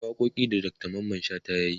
akwai waƙoƙin da Dr Mamman shata yayi